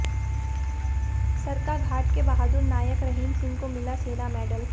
सरकाघाट के बहादुर नायक रहीम सिंह को मिला सेना मेडल